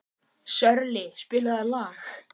Sörli, spilaðu lag.